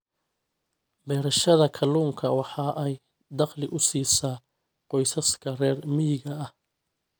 Beerashada kalluunka waxa ay dakhli u siisaa qoysaska reer miyiga ah.